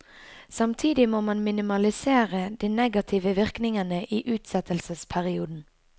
Samtidig må man minimalisere de negative virkningene i utsettelsesperioden.